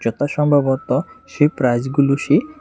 এটা সম্ভবত সেই প্রাইজগুলো সেই।